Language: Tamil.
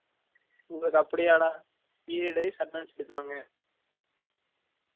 உங்கலுக்கு அப்டியா டா period wise attendance எடுக்ராங்க